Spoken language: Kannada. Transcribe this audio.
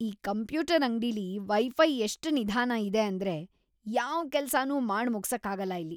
ಈ ಕಂಪ್ಯೂಟರ್ ಅಂಗ್ಡಿಲಿ ವೈ-ಫೈ ಎಷ್ಟ್ ನಿಧಾನ ಇದೆ ಅಂದ್ರೆ ಯಾವ್ ಕೆಲ್ಸನೂ ಮಾಡ್‌ ಮುಗ್ಸಕ್ಕಾಗಲ್ಲ ಇಲ್ಲಿ.